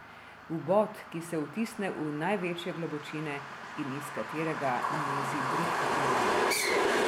Vbod, ki se vtisne v največje globočine in iz katerega mezi bridka ironija ...